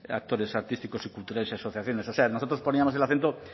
actores artísticos y culturales y asociaciones o sea nosotros poníamos el acento